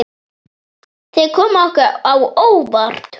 Þeir komu okkur á óvart.